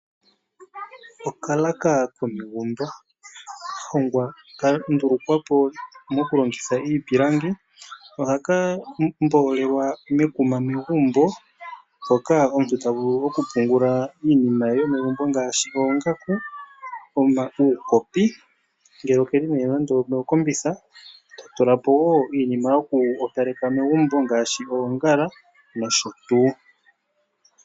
Okalaka komegumbo kandulukwapo mokulongitha iipilangi ohaka mbolelwa mekuma megumbo mpoka omuntu tavulu okupungula iinima yomegumbo ngashi oongaku, uukopi ngele okeli mokombitha ta tulapo iinima yoku opaleka megumbo ngashi oongala nosho tuu.